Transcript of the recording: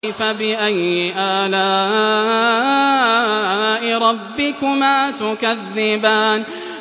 فَبِأَيِّ آلَاءِ رَبِّكُمَا تُكَذِّبَانِ